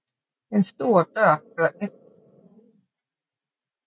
En stor dør fører ind til cellaen